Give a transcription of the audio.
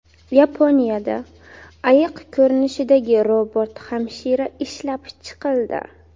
Yaponiyada ayiq ko‘rinishidagi robot-hamshira ishlab chiqildi.